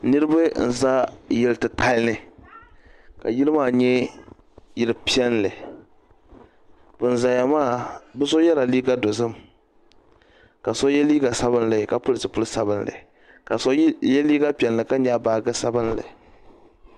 Niribi nza yilli titali ni ka yili ma nyɛ yili piɛli wuŋ zaya maa bɛ so yɛla liiga dozim ka so yɛ liiga sabinli ka pili zupili sabinli ka so yɛ liiga piɛlli ka nyɛgi baaji sabinli.